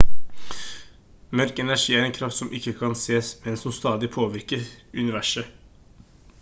mørk energi er en kraft som ikke kan sees men som stadig påvirker universet